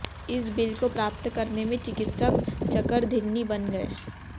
इस बिल को प्राप्त करने में चिकित्सक चकरघिन्नी बन गए